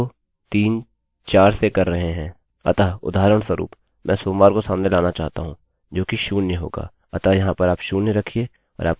अतः उदाहरणस्वरूप मैं सोमवार को सामने लाना चाहता हूँ जो कि शून्य होगाअतः यहाँ पर आप शून्य रखिये और आपके सामने सोमवार आ गया